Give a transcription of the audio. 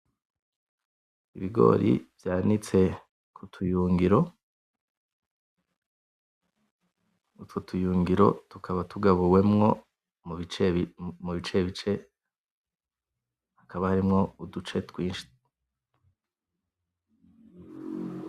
Ibigori vyanitse ku tuyungiro, utwo tuyungiro tukaba tugabuwemwo mu bice bice hakaba harimwo uduce twinshi.